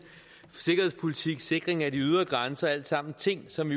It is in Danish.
sikkerhedspolitik og sikring af de ydre grænser alt sammen ting som